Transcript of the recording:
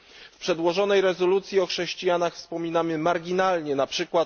W przedłożonej rezolucji o chrześcijanach wspominamy marginalnie, np.